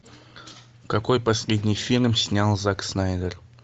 какой последний фильм снял зак снайдер